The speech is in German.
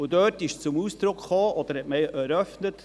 Dort hat man Folgendes eröffnet: